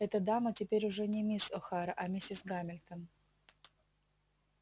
эта дама теперь уже не мисс охара а миссис гамильтон